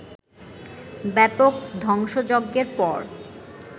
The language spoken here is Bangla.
ব্যাপক ধ্বংসযজ্ঞের পর